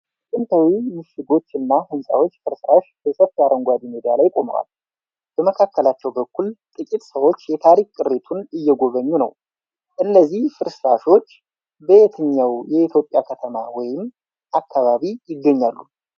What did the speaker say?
የጥንታዊ ምሽጎች እና ህንጻዎች ፍርስራሽ በሰፊ አረንጓዴ ሜዳ ላይ ቆመዋል። በመካከለኛው በኩል ጥቂት ሰዎች የታሪክ ቅሪቱን እየጎበኙ ነው። እነዚህ ፍርስራሾች በየትኛው የኢትዮጵያ ከተማ ወይም አካባቢ ይገኛሉ?